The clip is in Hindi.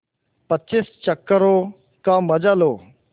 पच्चीस चक्करों का मजा लो